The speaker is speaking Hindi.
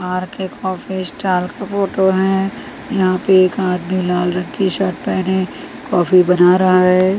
आर_के कॉफी स्टाल का फोटो है यहां पे एक आदमी लाल रंग के शर्ट पहने कॉफी बना रहा है।